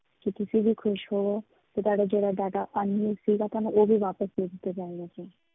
ਕਿ ਤੁਸੀਂ ਵੀ ਖ਼ੁਸ਼ ਹੋਵੋ, ਤੇ ਤੁਹਾਡਾ ਜਿਹੜਾ data unlimited ਸੀਗਾ ਤੁਹਾਨੂੰ ਉਹ ਵੀ ਵਾਪਸ ਦੇ ਦਿੱਤਾ ਜਾਵੇਗਾ sir